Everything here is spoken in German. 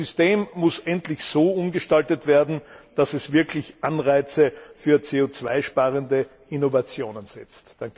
Das System muss endlich so umgestaltet werden, dass es wirklich Anreize für CO 2 sparende Innovationen setzt.